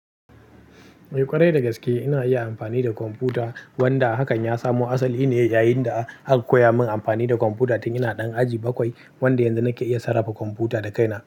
Eh ƙwarai dagaske ina iya amfani da kwamfuta, wanda hakan ya samo asali ne yayin da aka koya min amfani da kwamfuta tun ina ɗan aji bakwai wanda yanzu nake iya sarrafa kwamfuta da kaina.